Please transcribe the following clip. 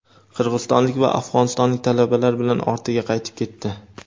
qirg‘izistonlik va afg‘onistonlik talabalar bilan ortiga qaytib ketdi.